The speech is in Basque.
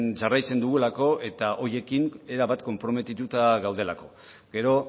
jarraitzen dugulako eta horiekin erabat konprometitua gaudelako gero